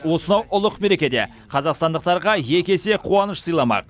осынау ұлық мерекеде қазақстандықтарға екі есе қуаныш сыйламақ